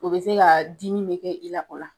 O be se kaa dimi be kɛ i la o la